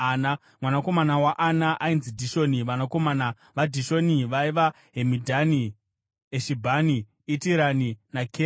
Mwanakomana waAna ainzi Dhishoni. Vanakomana vaDhishoni vaiva: Hemidhani, Eshibhani, Itirani naKerani.